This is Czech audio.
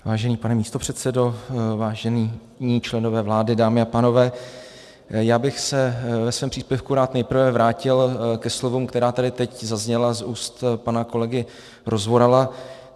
Vážený pane místopředsedo, vážení členové vlády, dámy a pánové, já bych se ve svém příspěvku rád nejprve vrátil ke slovům, která tady teď zazněla z úst pana kolegy Rozvorala.